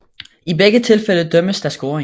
I begge tilfælde dømmes der scoring